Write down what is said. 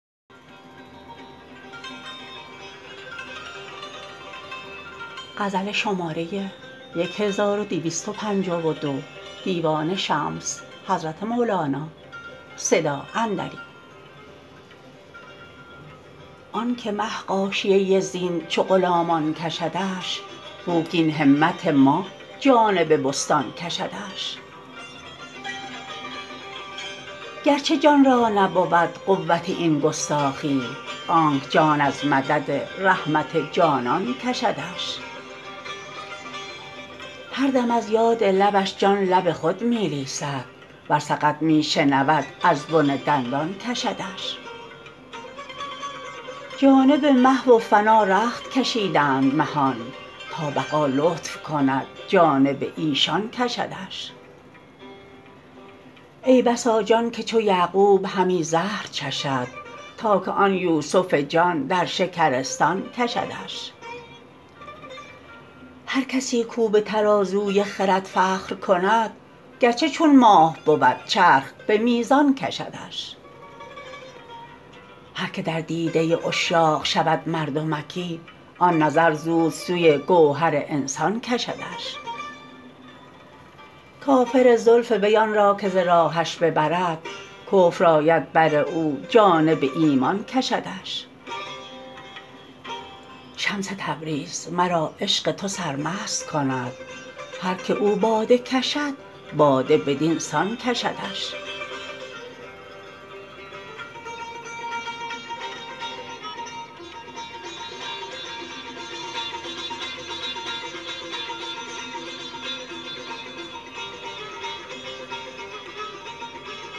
آن که مه غاشیه زین چو غلامان کشدش بوک این همت ما جانب بستان کشدش گرچه جان را نبود قوت این گستاخی آنک جان از مدد رحمت جانان کشدش هر دم از یاد لبش جان لب خود می لیسد ور سقط می شنود از بن دندان کشدش جانب محو و فنا رخت کشیدند مهان تا بقا لطف کند جانب ایشان کشدش ای بسا جان که چو یعقوب همی زهر چشد تا که آن یوسف جان در شکرستان کشدش هر کسی کو بتر از وی خرد فخر کند گرچه چون ماه بود چرخ به میزان کشدش هر که در دیده عشاق شود مردمکی آن نظر زود سوی گوهر انسان کشدش کافر زلف وی آن را که ز راهش ببرد کفر آید بر او جانب ایمان کشدش شمس تبریز مرا عشق تو سرمست کند هر کی او باده کشد باده بدین سان کشدش